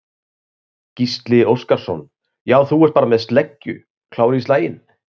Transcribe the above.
Gísli Óskarsson: Já, þú ert bara með sleggju, klár í slaginn?